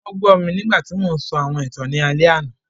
Wọn gbọ mi nigbati mo ńsọ awọn ìtan ni alẹ ana.